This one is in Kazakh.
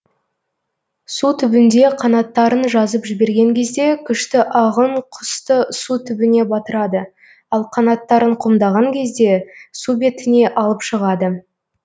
су түбінде қанаттарын жазып жіберген кезде күшті ағын құсты су түбіне батырады ал қанаттарын қомдаған кезде су бетіне алып шығады